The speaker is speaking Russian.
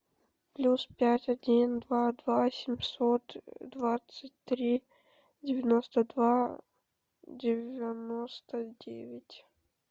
плюс пять один два два семьсот двадцать три девяносто два девяносто девять